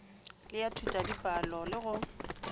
le ya thutadipalo le go